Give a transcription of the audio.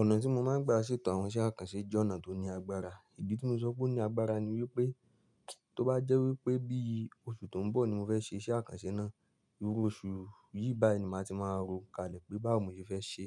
Ọ̀nà tí mo máa ń gbà ṣètò àwọn iṣẹ́ àkànṣe jẹ́ ọ̀nà tó ní agbára. Ìdí tí mo sọ pé ó ní agbára ni wípé tó bá jẹ́ wípé bí oṣù tó ń bọ̀ ni mo fẹ́ ṣe iṣẹ́ àkànṣe náà, irú oṣù yìí báyìí ni màá ti máa ro kalẹ̀ pé báwo mo ṣe fẹ́ ṣe.